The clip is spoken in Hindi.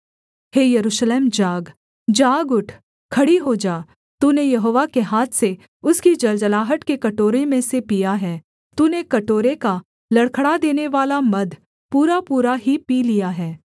हे यरूशलेम जाग जाग उठ खड़ी हो जा तूने यहोवा के हाथ से उसकी जलजलाहट के कटोरे में से पिया है तूने कटोरे का लड़खड़ा देनेवाला मद पूरापूरा ही पी लिया है